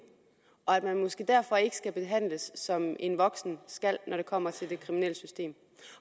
og at man måske derfor ikke skal behandles som en voksen skal når det kommer til det kriminelle system